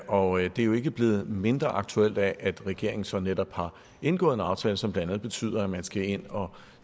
og det er jo ikke blevet mindre aktuelt af at regeringen så netop har indgået en aftale som blandt andet betyder at man skal ind og